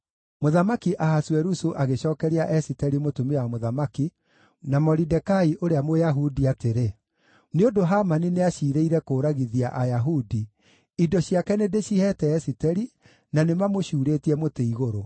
Mũthamaki Ahasuerusu agĩcookeria Esiteri mũtumia wa mũthamaki na Moridekai ũrĩa Mũyahudi atĩrĩ, “Nĩ ũndũ Hamani nĩaciirĩire kũũragithia Ayahudi, indo ciake nĩndĩciheete Esiteri, na nĩ mamũcuurĩtie mũtĩ-igũrũ.